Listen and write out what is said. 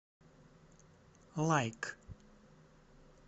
лайк